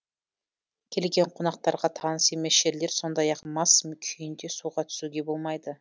келген қонақтарға таныс емес жерлер сондай ақ мас күйінде суға түсуге болмайды